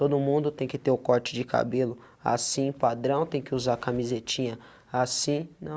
Todo mundo tem que ter o corte de cabelo assim, padrão, tem que usar camisetinha assim,